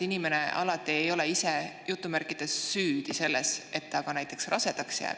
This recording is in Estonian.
Inimene ei ole alati ise "süüdi" selles, et ta rasedaks jääb.